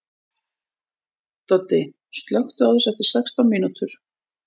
Doddi, slökktu á þessu eftir sextán mínútur.